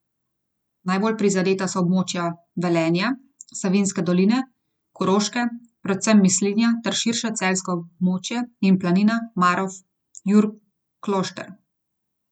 Najbolj prizadeta so območja Velenja, Savinjske doline, Koroške, predvsem Mislinja ter širše celjsko območje in Planina, Marof, Jurklošter.